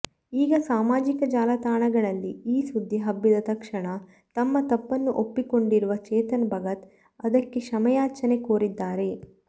ಈಗ ಸಾಮಾಜಿಕ ಜಾಲತಾಣಗಳಲ್ಲಿ ಈ ಸುದ್ದಿ ಹಬ್ಬಿದ್ದ ತಕ್ಷಣ ತಮ್ಮ ತಪ್ಪನ್ನು ಒಪ್ಪಿಕೊಂಡಿರುವ ಚೇತನ್ ಭಗತ್ ಅದಕ್ಕೆ ಕ್ಷಮೆಯಾಚನೆ ಕೋರಿದ್ದಾರೆ